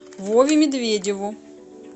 вове медведеву